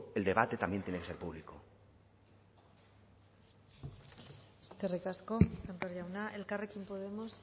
el debate también tiene que ser público eskerrik asko sémper jauna elkarrkein podemos